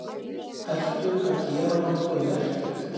Ertu að gera nokkuð merkilegt?